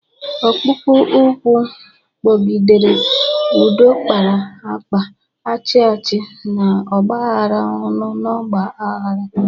Ọkpụkpụ ụkwụ kpọgidere, ụdọ kpara akpa, achị achị n'ọgbaaghara ọṅụ n'ọgba aghara.